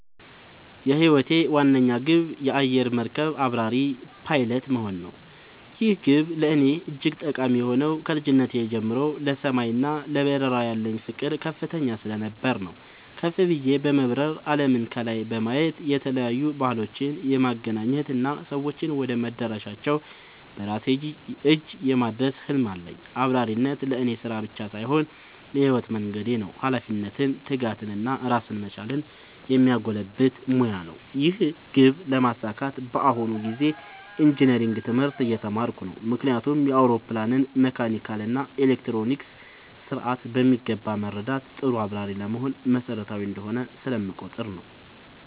የህይወቴ ዋነኛ ግብ የአየር መርከብ አብራሪ (Pilot) መሆን ነው። ይህ ግብ ለእኔ እጅግ ጠቃሚ የሆነው ከልጅነቴ ጀምሮ ለሰማይ እና ለበረራ ያለኝ ፍቅር ከፍተኛ ስለነበር ነው። ከፍ ብዬ በመብረር አለምን ከላይ የማየት፣ የተለያዩ ባህሎችን የማገናኘት እና ሰዎችን ወደ መዳረሻቸው በራሴ እጅ የማድረስ ህልም አለኝ። አብራሪነት ለእኔ ስራ ብቻ ሳይሆን የህይወት መንገዴ ነው - ኃላፊነትን፣ ትጋትን እና ራስን መቻልን የሚያጎለብት ሙያ ነው። ይህን ግብ ለማሳካት በአሁኑ ጊዜ ኢንጂነሪንግ (Engineering) ትምህርት እየተማርኩ ነው። ምክንያቱም የአውሮፕላንን መካኒካል እና ኤሌክትሮኒክስ ስርዓት በሚገባ መረዳት ጥሩ አብራሪ ለመሆን መሰረታዊ እንደሆነ ስለምቆጠር ነው።